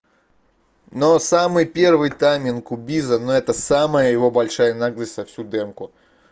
но самый первый тайминг у биза но это самая его большая наглость за всю демку